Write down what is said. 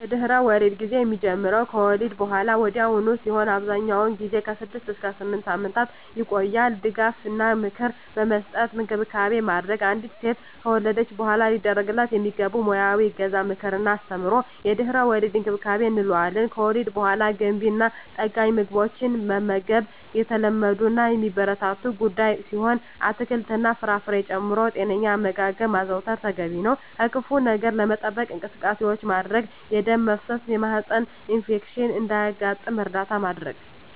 የድህረ-ወሊድ ጊዜ የሚጀምረው ከወሊድ በሃላ ወዲያውኑ ሲሆን አብዛኛውን ጊዜ ከ6 እስከ 8 ሳምንታት ይቆያል ድጋፍ እና ምክር በመስጠት እንክብካቤ ማድረግ። አንዲት ሴት ከወለደች በሃላ ሊደረግላት የሚገቡ ሙያዊ እገዛ ምክር እና አስተምሮ የድህረ-ወሊድ እንክብካቤ እንለዋለን። ከወሊድ በሃላ ገንቢ እና ጠጋኝ ምግቦችን መመገብ የተለመዱ እና የሚበረታቱ ጉዳይ ሲሆን አትክልት እና ፍራፍሬ ጨምሮ ጤነኛ አመጋገብ ማዘውተር ተገቢ ነው። ከክፋ ነገር ለመጠበቅ እንቅስቃሴዎች ማድረግ የደም መፍሰስ የማህፀን ኢንፌክሽን እንዳያጋጥም እርዳታ ማድረግ።